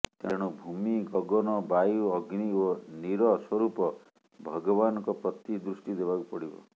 ତେଣୁ ଭୂମି ଗଗନ ବାୟୁ ଅଗ୍ନି ଓ ନୀର ସ୍ବରୂପ ଭଗବାନଙ୍କ ପ୍ରତି ଦୃଷ୍ଟି ଦେବାକୁ ପଡ଼ିବ